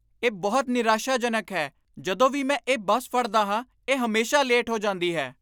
ਇਹ ਬਹੁਤ ਨਿਰਾਸ਼ਾਜਨਕ ਹੈ! ਜਦੋਂ ਵੀ ਮੈਂ ਇਹ ਬੱਸ ਫੜਦਾ ਹਾਂ, ਇਹ ਹਮੇਸ਼ਾ ਲੇਟ ਹੋ ਜਾਂਦੀ ਹੈ।